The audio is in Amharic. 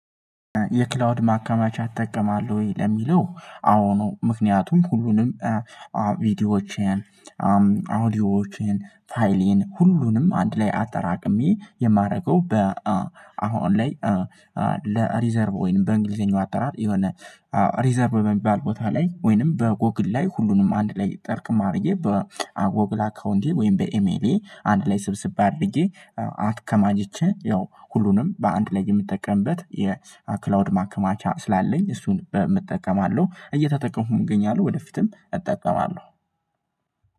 የክላውድ ማከማቻ ትጠቀማለህ ወይ? ለሚለው አዎ ነው ምክንያቱም ሁሉንም ቪዲዮዎችን አውዲዮዎችን ፋይሌን ሁሉንም አንድ ላይ አጠራቅሜ የማደርገው በ አሁን ኦንላይ ለሪዘርቭ ወይንም በእንግሊዘኛው አጠራር የሆነ ሪዘርቭ በሚባል ቦታ ላይ ወይንም በጎግል ላይ ሁሉንም አንድ ላይ ጠርቅም አርጌ በጎግል አካውንቴ ወይንም በኤሜሌ አንድ ላይ ስብስብ አድርጌ አትከማጅቼ ያው ሁሉንም በአንድ ላይ የምጠቀምበት የክላውድ ማከማቻ ስላለኝ እሱን በምጠቀማለው እየተጠቀሙም እገኛለሁ ወደፊትም እጠቀማለሁ